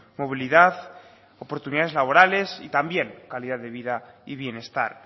movilidad oportunidades laborales y también calidad de vida y bienestar